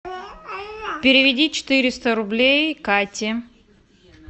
переведи четыреста рублей кате